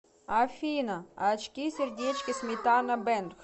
афина очки сердечки сметана бэнд